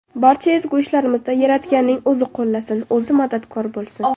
Barcha ezgu ishlarimizda Yaratganning o‘zi qo‘llasin, o‘zi madadkor bo‘lsin!